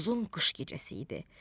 Uzun qış gecəsi idi.